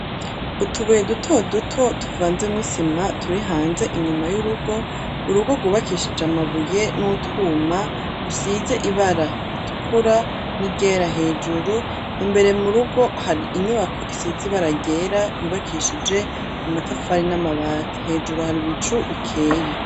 Utubuye duto duto tuvanze mw' isima turihanze inyuma y'urugo ,urugo gwubakishije amabuye n'utwuma, rusize ibara ritukura n'iryera hejuru ,imbere mu rugo har' inyubako isize ibara ryera yubakishije amatafari n'amabati hejuru har'ibicu bikeye